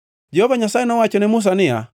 Jehova Nyasaye nowacho ne Musa niya,